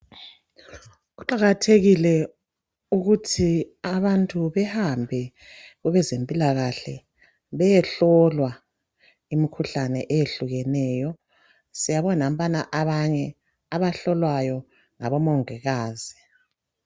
Kuqakathekile ukuthi abantu bahambe kwabezempilakahle bayehlolwa imikhuhlane ehlukeneyo. Siyabona nampayana abanye abahlolwayo ngomongikazi.